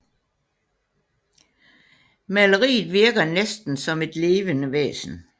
Maleriet virker næsten som et levende væsen